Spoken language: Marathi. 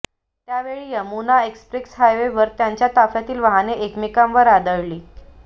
त्यावेळी यमुना एक्स्प्रेस हायवेवर त्यांच्या ताफ्यातील वाहने एकमेकांवर आदळली